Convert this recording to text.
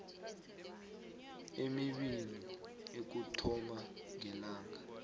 emibili ukuthoma ngelanga